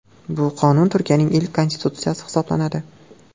Bu qonun Turkiayning ilk konstitutsiyasi hisoblanadi.